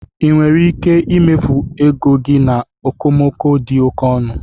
Ị nwere ike imefu ego gị na okomoko dị oke ọnụ?